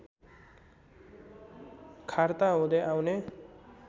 खार्ता हुदै आउने